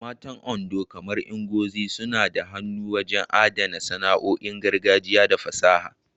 Matan Ondo, kamar Ngozi, suna da hannu wajen adana sana'o'in gargajiya da fasaha.